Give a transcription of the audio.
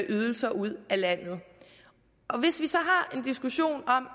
ydelser ud af landet hvis vi så har en diskussion om at